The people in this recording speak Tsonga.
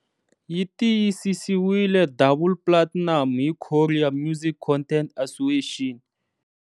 Yi tiyisisiwile double platinum hi Korea Music Content Association.